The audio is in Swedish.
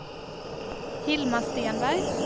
Hilma Stenberg